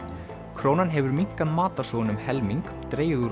krónan hefur minnkað matarsóun um helming dregið úr